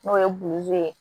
N'o ye ye